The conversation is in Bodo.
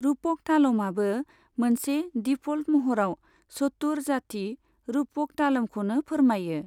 रूपक तालमआबो मोनसे डिफ'ल्ट महराव चतुर जाति रूपक तालमखौनो फोरमायो।